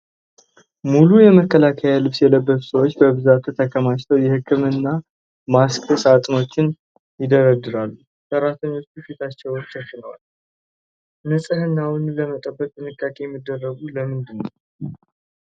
ሙሉ የመከላከያ ልብስ የለበሱ ሰዎች በብዛት የተከማቹ የህክምና ማስክ ሣጥኖችን ይደረድራሉ። ሰራተኞቹ ፊታቸውን ሸፍነዋል፤ ንፅህናውን ለመጠበቅ ጥንቃቄ የሚያደርጉት ለምንድን ነው?